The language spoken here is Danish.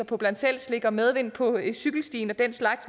på bland selv slik og medvind på cykelstien og den slags